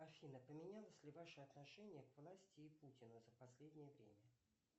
афина поменялось ли ваше отношение к власти и путину за последнее время